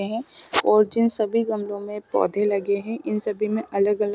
और जिन सब गमलों में पौधे लगे है इन सभी में अलग अलग--